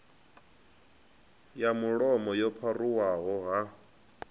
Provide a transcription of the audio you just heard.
ya mulomo yo pharuwaho ha